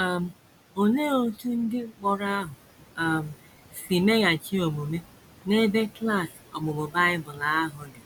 um Olee otú ndị mkpọrọ ahụ um si meghachi omume n’ebe klas ọmụmụ Bible ahụ dị